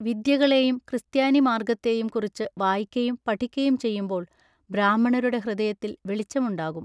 വിദ്യകളേയും ക്രിസ്ത്യാനി മാൎഗ്ഗത്തെയും കുറിച്ചു വായിക്കയും പഠിക്കയും ചെയ്യുമ്പോൾ ബ്രാഹ്മണരുടെ ഹൃദയത്തിൽ വെളിച്ചമുണ്ടാകും.